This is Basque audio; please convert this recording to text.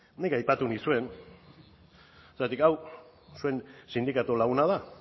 nik aipatu nizuen zergatik hau zuen sindikatu laguna da